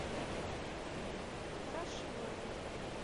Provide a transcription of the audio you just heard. хорошиловой